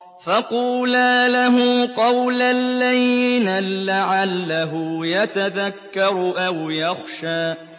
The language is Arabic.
فَقُولَا لَهُ قَوْلًا لَّيِّنًا لَّعَلَّهُ يَتَذَكَّرُ أَوْ يَخْشَىٰ